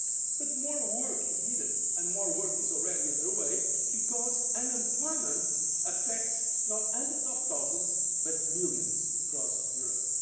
benefit. But more work is needed and more work is already under way, because unemployment affects not hundreds of thousands but millions across